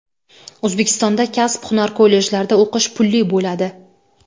O‘zbekistonda kasb-hunar kollejlarida o‘qish pulli bo‘ladi.